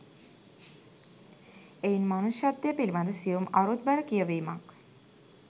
එයින් මනුෂ්‍යත්වය පිළිබඳ සියුම් අරුත්බර කියැවීමක්